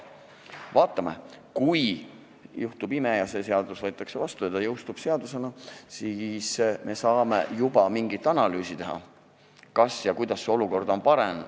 Vaatame, kui juhtub ime ja see seadus võetakse vastu ja ta jõustub, siis me saame mingi analüüsi teha, kas ja kuidas on olukord paranenud.